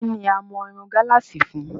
Kí ni a mọ irun gálààsì fún?